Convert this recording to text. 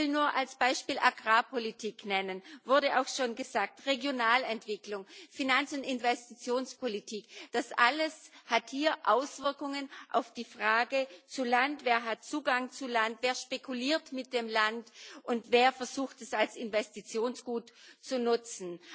Ich will nur als Beispiel Agrarpolitik nennen wurde auch schon gesagt Regionalentwicklung, Finanz und Investitionspolitik das alles hat hier Auswirkungen auf die Frage zu Land Wer hat Zugang zu Land, wer spekuliert mit dem Land und wer versucht, es als Investitionsgut zu nutzen?